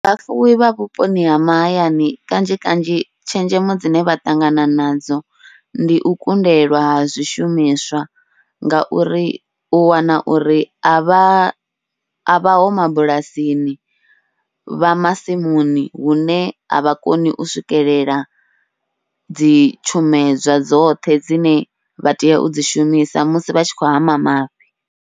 Vhafuwi vha vhuponi ha mahayani kanzhi kanzhi tshenzhemo dzine vha ṱangana nadzo ndi u kundelwa ha zwishumiswa, ngauri u wana uri avha a vhaho mabulasini vha masimuni hune a vha koni u swikelela dzi tshumedzwa dzoṱhe dzine vha tea u dzi shumisa musi vha tshi khou hama mafhi.